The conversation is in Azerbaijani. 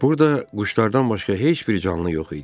Burda quşlardan başqa heç bir canlı yox idi.